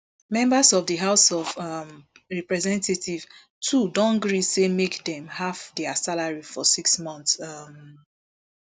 members of di house of um representatives too don gree say make dem half dia salary for six months um